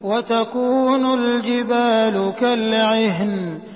وَتَكُونُ الْجِبَالُ كَالْعِهْنِ